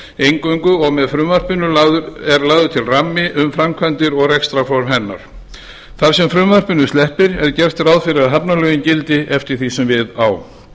eingöngu og er með frumvarpinu lagður til ramminn um framkvæmdir og rekstrarform hennar þar sem frumvarpinu sleppir er gert ráð fyrir að hafnalögin gildi eftir því sem við á